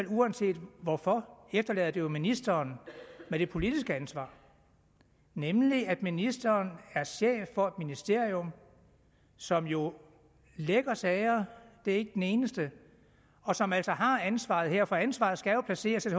uanset hvorfor efterlader det alligevel ministeren med det politiske ansvar nemlig at ministeren er chef for et ministerium som jo lækker sager det er ikke den eneste og som altså har ansvaret her for ansvaret skal jo placeres